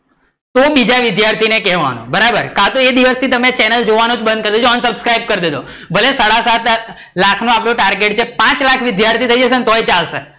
તો બીજા વિદ્યાર્થી ને કેવાનું, બરાબર કા તો એ દિવસ થી ચેનલ જોવાનું જ બઁધ કરી દો unsubscribe કરી દેજો, ભલે સાડા સાત લાખ લાખ નો આપડો target છે પાંચ લાખ વિદ્યાર્થી થઇ જશે ને તો ચાલશે